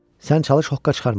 Sən çalış hoqqa çıxarma.